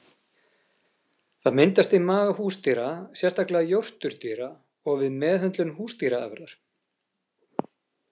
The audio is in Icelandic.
Það myndast í maga húsdýra, sérstaklega jórturdýra, og við meðhöndlun húsdýraáburðar.